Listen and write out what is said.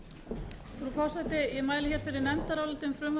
frú forseti ég mæli fyrir nefndaráliti um frumvarp til laga